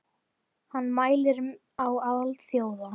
Hann mælir á alþjóða